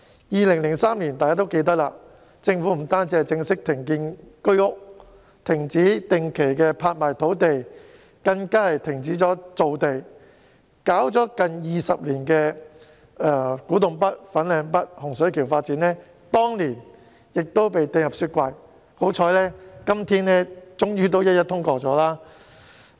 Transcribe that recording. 大家也記得，政府在2003年不但正式停建居屋、停止定期拍賣土地，更停止造地，而推動了近20年的古洞北、粉嶺北和洪水橋發展計劃，當年亦被冰封，幸好今天終於一一通過。